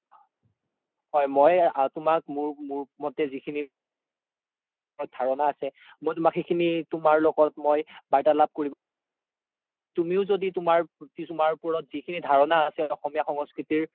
হয় মই তুমাক মোৰ মতে যিখিনি আছে মই তুমাক ধাৰাণা সিখিনি তুমাৰ লগত মই বাৰ্তালাপ কৰিব তুমিও য্দি তুমাৰ ৰত যি খিনি ধাৰাণা আছে অসমীয়া সংস্কৃতিৰ